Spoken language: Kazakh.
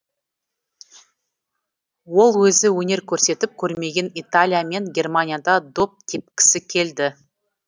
ол өзі өнер көрсетіп көрмеген италия мен германияда доп тепкісі келді